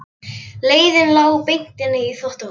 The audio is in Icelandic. Leiðin lá beint inn í þvottahús.